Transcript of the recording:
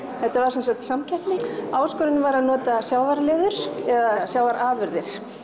þetta var sem sagt samkeppni áskorunin var að nota eða sjávarafurðir